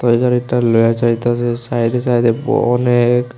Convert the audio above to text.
এখানে একটা লোয়া যাইতাসে সাইডে সাইডে ব অনেক।